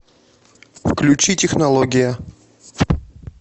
включи технология